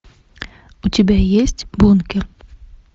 у тебя есть бункер